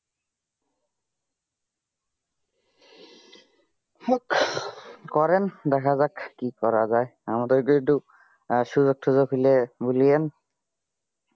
করেন দেখা যাক কি করা যায় আমাদেরকেও একটু সুযোগ টুজোক হলে বলিয়েন